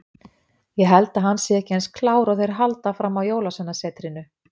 Ég held að hann sé ekki eins klár og þeir halda fram á Jólasveinasetrinu.